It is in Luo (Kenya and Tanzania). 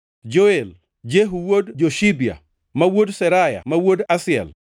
Joel, Jehu wuod Joshibia, ma wuod Seraya ma wuod Asiel,